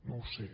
no ho sé